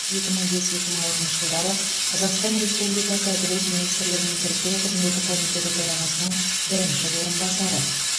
екі мың бес екі мың алтыншы жылдары қазақстан республикасы әділет министрлігінің тіркеу қызметі комитеті төрағасының бірінші орынбасары